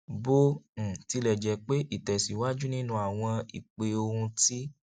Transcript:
bó um tilẹ jẹ pé ìtèsíwájú nínú àwọn ìpè ohùn ti